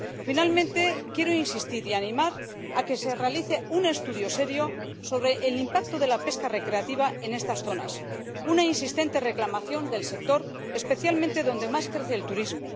Finalmente, quiero insistir y animar a que se realice un estudio serio sobre el impacto de la pesca recreativa en estas zonas, una insistente reclamación del sector, especialmente donde más crece el turismo.